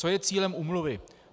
Co je cílem úmluvy.